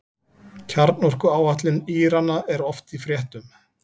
Kjarnorkuáætlun Írana er oft í fréttum.